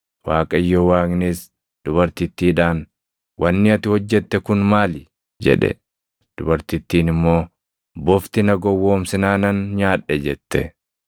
Waaqayyo Waaqnis dubartittiidhaan, “Wanni ati hojjette kun maali?” jedhe. Dubartittiin immoo, “Bofti na gowwoomsinaanan nyaadhe” jette.